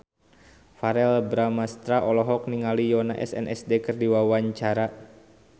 Verrell Bramastra olohok ningali Yoona SNSD keur diwawancara